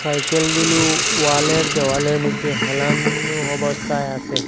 সাইকেলগুলো ওয়ালের দেওয়ালের মইদ্যে হেলান অবস্থায় আসে।